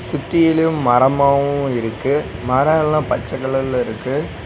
சுத்தியிலு மரமாவு இருக்கு மரேல்லா பச்ச கலர்ல இருக்கு.